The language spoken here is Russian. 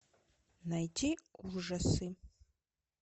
найти ужасы